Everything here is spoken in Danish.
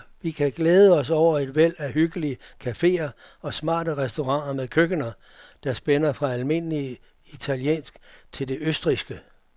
Vi kan glæde os over et væld af hyggelige caféer og smarte restauranter med køkkener, der spænder fra almindelig italiensk til det østrigske.